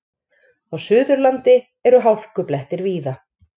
Á Suðurlandi eru hálkublettir víða